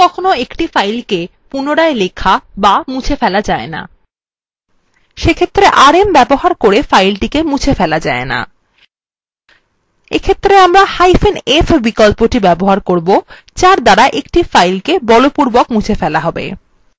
কখনও কখনও একটি file write protected থাকে সেক্ষেত্রে rm ব্যবহার করে ফাইলটিকে মুছে ফেলা যায় না এই ক্ষেত্রে আমরাf বিকল্পটি ব্যবহার করবো যার দ্বারা একটি file কে বলপূর্বক মুছে ফেলা have